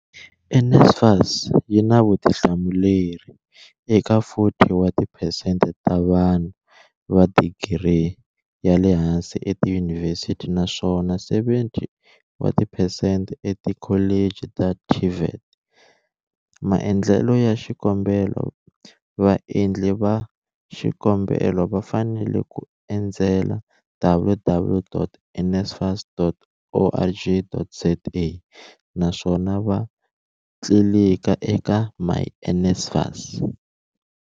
NSFAS yi na vutihlamuleri eka 40 wa tiphesente ta vanhu va digiri ya le hansi etiyunivhesiti naswona 70 wa tiphesente etikholeji ta TVET. vMaendlelo ya xikombelo Vaendli va xikombelo va fanele ku endzela www.nsfas.org.za naswona va tlilika eka myNSFAS.